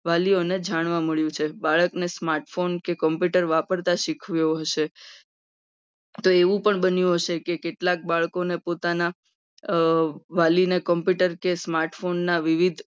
વાલીઓને જાણવા મળ્યું છે. ભારત દેશમાં phone કે computer વાપરતા શીખવું એવું છે. હશે તો એવું પણ બન્યું હશે. કે કેટલાક બાળકોને પોતાના અમ વાલીને computer કે smart phone વિવિધ